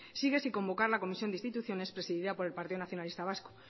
sigue sin convocar la comisión de instituciones presidida por el partido nacionalista vasco